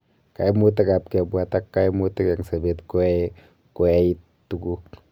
Kaimutik ap kebwaat ak kaimutik eng sabet koae ko ait tuguk